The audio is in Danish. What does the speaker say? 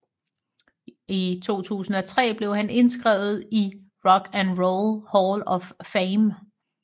I 2003 blev han indskrevet i Rock and Roll Hall of Fame